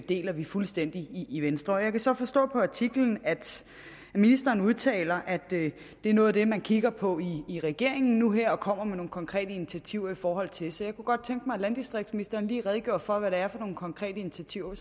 deler vi fuldstændig i venstre og jeg kan så forstå på artiklen at ministeren udtaler at det er noget af det man kigger på i regeringen nu her og kommer med nogle konkrete initiativer i forhold til så jeg kunne godt tænke mig at landdistriktsministeren lige redegjorde for hvad det er for nogle konkrete initiativer